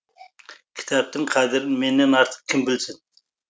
кітаптың қадірін менен артық кім білсін